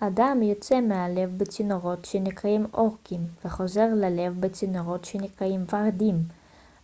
הדם יוצא מהלב בצינורות שנקראים עורקים וחוזר ללב בצינורות שנקראים ורידים